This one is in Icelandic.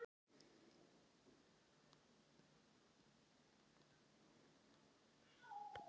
Að þau verði aldrei einsog þegar þau voru gædd hans eigin lífi.